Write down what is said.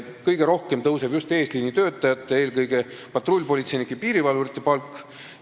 Kõige rohkem tõuseb just eesliinitöötajate, eelkõige patrullpolitseinike ja piirivalvurite palk.